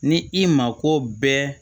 Ni i mako bɛɛ